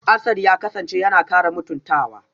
Asad ya kasance yana kara mutuntawa